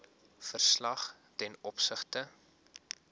verslag ten opsigte